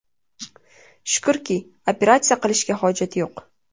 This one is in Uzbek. Shukurki, operatsiya qilishga hojat yo‘q.